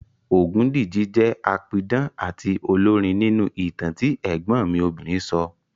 Ògúndìji jẹ́ apidán àti olórin nínú ìtàn tí ẹ̀gbọ́n mi obìnrin sọ